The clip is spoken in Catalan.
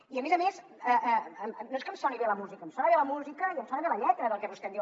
i a més a més no és que em soni bé la música em sona bé la música i em sona bé la lletra del que vostè em diu